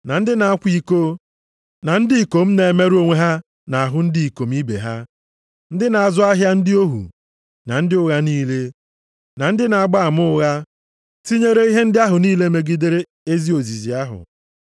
na ndị na-akwa iko na ndị ikom na-emerụ onwe ha nʼahụ ndị ikom ibe ha, ndị na-azụ ahịa ndị ohu, na ndị ụgha niile, na ndị na-agba ama ụgha, tinyere ihe ndị ahụ niile megidere ezi ozizi ahụ,